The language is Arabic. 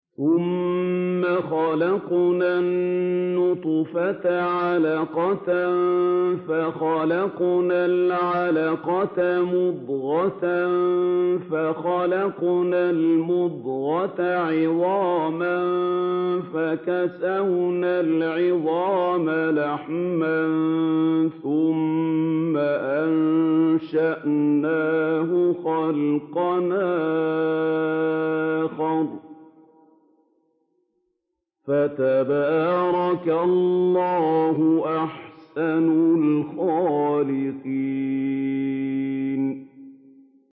ثُمَّ خَلَقْنَا النُّطْفَةَ عَلَقَةً فَخَلَقْنَا الْعَلَقَةَ مُضْغَةً فَخَلَقْنَا الْمُضْغَةَ عِظَامًا فَكَسَوْنَا الْعِظَامَ لَحْمًا ثُمَّ أَنشَأْنَاهُ خَلْقًا آخَرَ ۚ فَتَبَارَكَ اللَّهُ أَحْسَنُ الْخَالِقِينَ